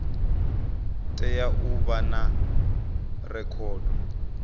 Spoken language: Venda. tea u vha na rekhodo